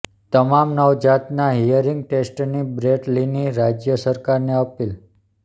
તમામ નવજાતના હીયરિંગ ટેસ્ટની બ્રેટ લીની રાજ્ય સરકારને અપીલ